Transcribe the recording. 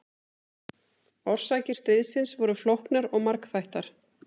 Orsakir stríðsins voru flóknar og margþættar.